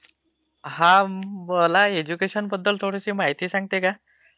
हा, मला ऐज्युकेशनबद्दल थाडी माहिती सांगते का?